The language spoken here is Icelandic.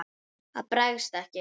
Það bregst ekki.